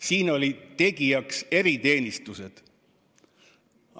Siin olid tegijaks eriteenistused.